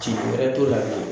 Tiɲɛ wɛrɛ t'o la bi